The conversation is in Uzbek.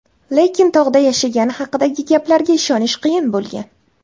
Lekin tog‘da yashagani haqidagi gaplarga ishonish qiyin bo‘lgan.